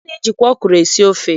A na-ejikwa ọkwụrụ esi ofe.